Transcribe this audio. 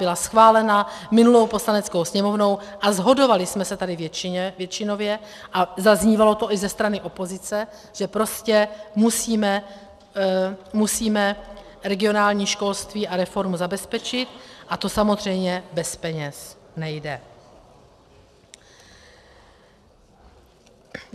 Byla schválena minulou Poslaneckou sněmovnou a shodovali jsme se tady většinově a zaznívalo to i ze strany opozice, že prostě musíme regionální školství a reformu zabezpečit, a to samozřejmě bez peněz nejde.